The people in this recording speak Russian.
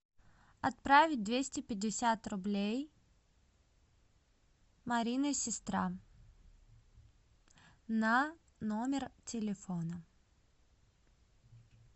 отправить двести пятьдесят рублей марина сестра на номер телефона